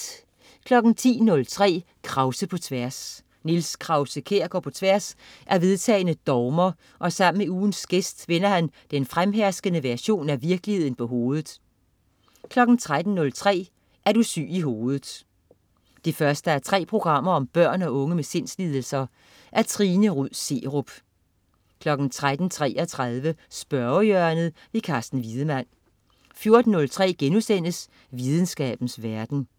10.03 Krause på tværs. Niels Krause-Kjær går på tværs af vedtagne dogmer og sammen med ugens gæst vender han den fremherskende version af virkeligheden på hovedet 13.03 Er du syg i hovedet 1:3. Børn og unge med sindslidelser. Trine Rud Serup 13.33 Spørgehjørnet. Carsten Wiedemann 14.03 Videnskabens verden*